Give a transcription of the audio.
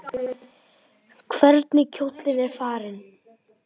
Hvernig kjóllinn er farinn!